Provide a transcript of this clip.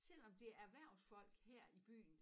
Selvom det erhversfolk her i byen